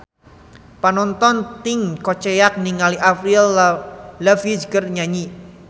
Panongton ting koceak ninggali Avril Lavigne keur nyanyi